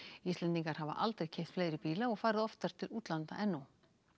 Íslendingar hafa aldrei keypt fleiri bíla og farið oftar til útlanda en nú